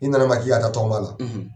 I na na n ma k'i ka taa tɔgɔma la.